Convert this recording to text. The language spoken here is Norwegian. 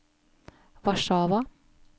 Warszawa